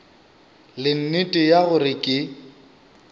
le nnete ya gore ke